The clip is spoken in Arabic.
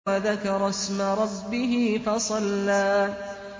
وَذَكَرَ اسْمَ رَبِّهِ فَصَلَّىٰ